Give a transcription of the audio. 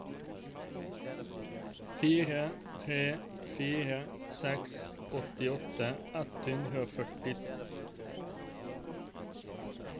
fire tre fire seks åttiåtte ett hundre og førti